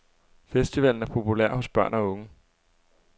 Festivalen er populær hos børn og unge.